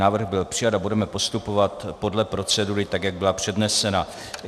Návrh byl přijat a budeme postupovat podle procedury, tak jak byla přednesena.